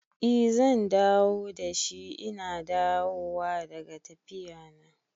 I zan dawo dashi ina dawowa daga tafiya na